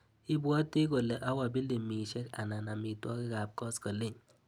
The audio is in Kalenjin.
Ibwati kole awa pilimisiek anan amitwogikap koskoliny?